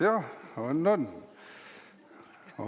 Jah, on-on, on küll.